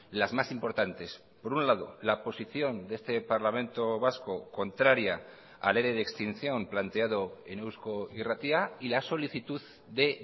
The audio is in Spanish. las más importantes por un lado la posición de este parlamento vasco contraria al ere de extinción planteado en eusko irratia y la solicitud de